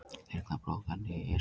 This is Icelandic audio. Þyrla brotlenti í Esjunni